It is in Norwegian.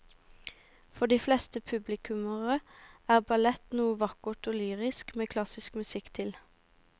For de fleste publikummere er ballett noe vakkert og lyrisk med klassisk musikk til.